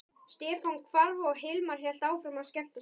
Stefán hvarf og Hilmar hélt áfram að skemmta sér.